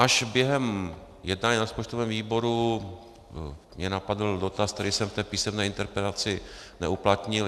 Až během jednání na rozpočtovém výboru mě napadl dotaz, který jsem v té písemné interpelaci neuplatnil.